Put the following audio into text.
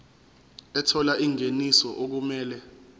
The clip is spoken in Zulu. ethola ingeniso okumele